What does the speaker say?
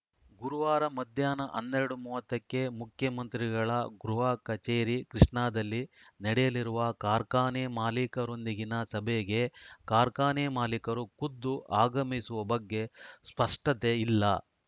ಗುರುವಾರ ಮಧ್ಯಾಹ್ನ ಹನ್ನೆರಡು ಮೂವತ್ತ ಕ್ಕೆ ಮುಖ್ಯಮಂತ್ರಿಗಳ ಗೃಹ ಕಚೇರಿ ಕೃಷ್ಣಾದಲ್ಲಿ ನಡೆಯಲಿರುವ ಕಾರ್ಖಾನೆ ಮಾಲೀಕರೊಂದಿಗಿನ ಸಭೆಗೆ ಕಾರ್ಖಾನೆ ಮಾಲೀಕರು ಖುದ್ದು ಆಗಮಿಸುವ ಬಗ್ಗೆ ಸ್ಪಷ್ಟತೆ ಇಲ್ಲ